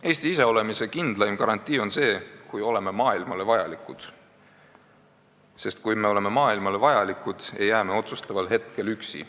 Eesti iseolemise kindlaim garantii on see, kui me oleme maailmale vajalikud, sest kui me oleme maailmale vajalikud, ei jää me otsustaval hetkel üksi.